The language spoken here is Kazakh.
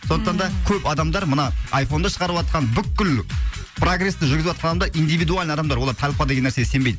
сондықтан да көп адамдар мына айфонды шығарыватқан бүкіл прогресті жүргізіватқан адамдар индивидуально адамдар олар толпа деген нәрсеге сенбейді